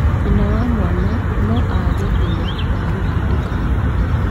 nyina wa mwana no aage hinya wa gũtindĩka mwana,